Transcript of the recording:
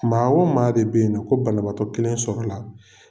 Maa o maa de bɛ yen nɔ, ko banabaatɔ kelen sɔrɔla